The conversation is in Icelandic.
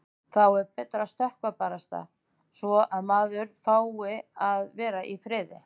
Þá er betra að skrökva barasta svo að maður fái að vera í friði.